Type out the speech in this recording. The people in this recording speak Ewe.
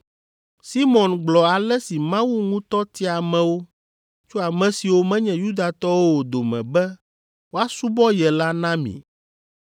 Simɔn gblɔ ale si Mawu ŋutɔ tia amewo tso ame siwo menye Yudatɔwo o dome be woasubɔ ye la na mi.